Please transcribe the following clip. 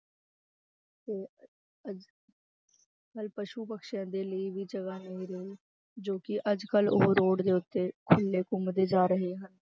ਤੇ ਨਾਲੇ ਪਸੂ ਪੰਛੀਆਂ ਦੇ ਲਈ ਵੀ ਜਗ੍ਹਾ ਨਹੀਂ ਰਹੀ, ਜੋ ਕਿ ਅੱਜ ਕੱਲ੍ਹ ਉਹ road ਦੇ ਉੱਤੇ ਖੁੱਲੇ ਘੁੰਮਦੇ ਜਾ ਰਹੇ ਹਨ।